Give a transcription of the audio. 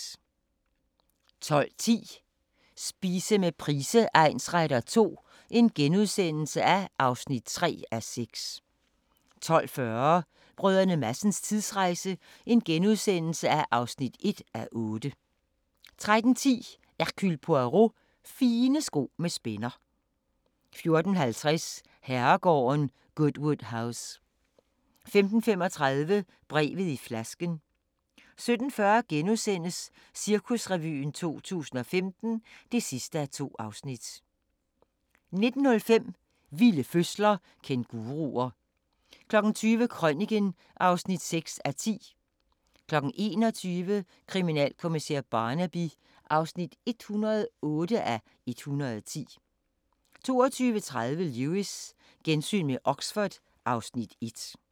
12:10: Spise med Price egnsretter II (3:6)* 12:40: Brdr. Madsens tidsrejse (1:8)* 13:10: Hercule Poirot: Fine sko med spænder 14:50: Herregården Goodwood House 15:35: Brevet i flasken 17:40: Cirkusrevyen 2015 (2:2)* 19:05: Vilde fødsler – Kænguruer 20:00: Krøniken (6:10) 21:00: Kriminalkommissær Barnaby (108:110) 22:30: Lewis: Gensyn med Oxford (Afs. 1)